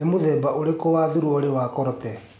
nĩ mũthemba ũrikũ wa thuruarĩ ni culotte